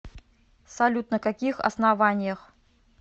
салют на каких основаниях